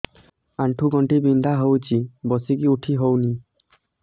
ଆଣ୍ଠୁ ଗଣ୍ଠି ବିନ୍ଧା ହଉଚି ବସିକି ଉଠି ହଉନି